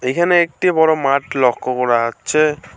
এখানে একটি বড় মাঠ লক্ষ করা যাচ্ছে।